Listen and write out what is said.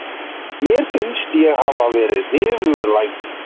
Mér finnst ég hafa verið niðurlægður.